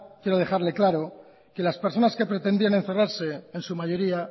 quiero dejarle claro que las personas que pretendían encerrarse en su mayoría